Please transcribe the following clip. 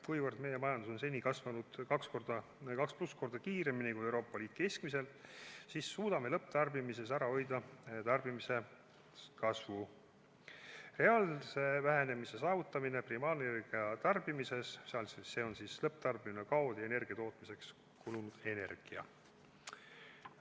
Kuivõrd meie majandus on seni kasvanud kaks ja rohkem korda kiiremini kui Euroopa Liidu majandus keskmiselt, siis suudame lõpptarbimises ära hoida tarbimise kasvu ja saavutame reaalse vähenemise primaarenergia tarbimises, s.o lõpptarbimine, kaod ja energia tootmiseks kulunud energia.